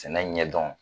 Sɛnɛ ɲɛ dɔn